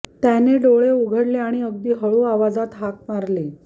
त्याने डोळे उघडले आणि अगदी हळु आवाजात हाक मारली